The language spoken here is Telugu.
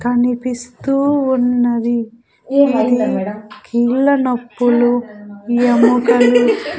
కనిపిస్తూ ఉన్నది ఇది కీళ్ళ నొప్పులు ఎముకలు--